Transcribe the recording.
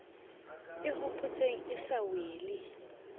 e hopotseng e sa wele